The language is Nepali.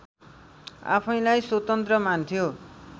आफैँलाई स्वतन्त्र मान्थ्यो